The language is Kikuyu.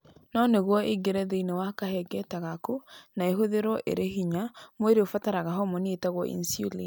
No nĩguo ĩingĩre thĩinĩ wa kahengereta gaku na ĩhũthĩrũo ĩrĩ hinya, mwĩrĩ ũbataraga homoni ĩtagwo insulin.